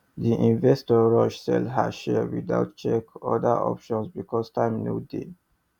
the investor rush sell her shares without check other options because time no dey